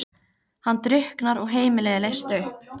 Hann drukknar og heimilið er leyst upp.